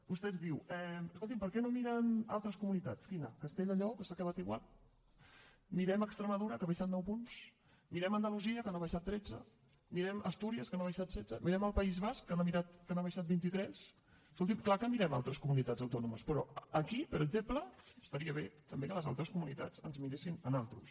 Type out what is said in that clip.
vostè ens diu escolti’m per què no miren altres comunitats quina castella i lleó que s’ha quedat igual mirem extremadura que ha baixat nou punts mirem andalusia que n’ha baixat tretze mirem astúries que n’ha baixat setze mirem el país basc que n’ha baixat vint i tres escolti’m clar que mirem altres comunitats autònomes però aquí per exemple estaria bé també que les altres comunitats ens miressin a nosaltres